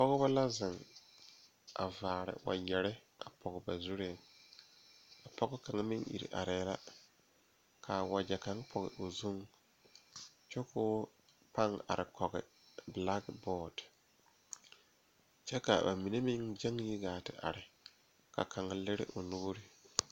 Pɔgebɔ la zeŋ a vaare wagyɛre pɔge ba zuree pɔge kaŋa meŋ ire arɛɛ la kaa wagyɛ kaŋ pɔge o zuŋ kyɛ koo paŋ are kɔge blakbɔɔde kyɛ a mine meŋ gyeŋ yi gaa te are ka kaŋa lire o nuure.